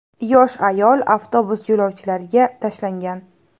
Yosh ayol avtobus yo‘lovchilariga tashlangan.